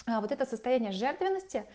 а вот это состояние жертвенности